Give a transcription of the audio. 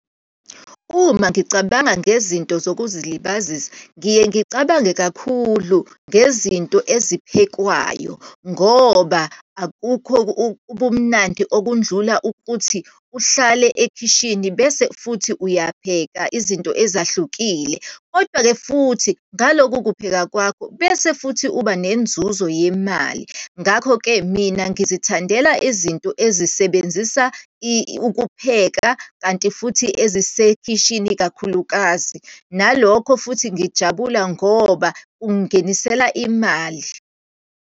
Uma ngicabanga ngezinto zokuzilibazisa, ngiye ngicabange kakhulu ngezinto eziphekwayo ngoba, akukho ubumnandi okudlula ukuthi uhlale ekhishini bese futhi uyapheka izinto ezahlukile. Kodwa-ke futhi ngaloku kupheka kwakho bese futhi uba nenzuzo yemali. Ngakho-ke, mina ngizithandela izinto ezisebenzisa ukupheka, kanti futhi ezisekhisini kakhulukazi, nalokho futhi ngijabula ngoba kungingenisela imali.